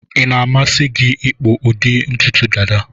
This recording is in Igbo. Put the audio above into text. Ị na-amasị gi ịkpụ ụdị ntutu Dada